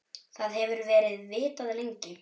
Það hefur verið vitað lengi.